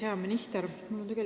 Hea minister!